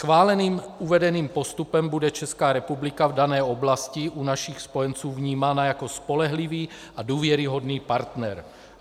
Schváleným uvedeným postupem bude Česká republika v dané oblasti u našich spojenců vnímána jako spolehlivý a důvěryhodný partner.